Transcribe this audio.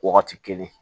Wagati kelen